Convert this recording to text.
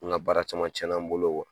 N ka baara caman cɛnna n bolo